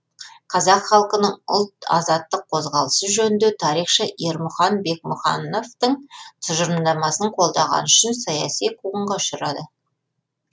қазақ халқының ұлт азаттық қозғалысы жөнінде тарихшы ермұхан бекмахановтың тұжырымдамасын қолдағаны үшін саяси қуғынға ұшырады